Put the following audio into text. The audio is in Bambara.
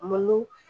Malo